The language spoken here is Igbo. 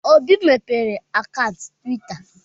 Obi mepere akaụntụ Twita.